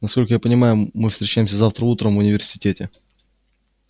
насколько я понимаю мы встречаемся завтра утром в университете